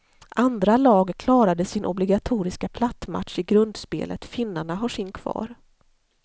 Andra lag klarade sin obligatoriska plattmatch i grundspelet, finnarna har sin kvar.